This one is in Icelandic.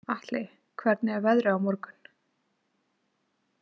Atli, hvernig er veðrið á morgun?